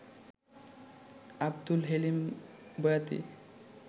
Abdul Helim Boyati